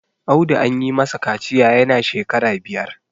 Audu an yi masa kaciya yana shekara biyar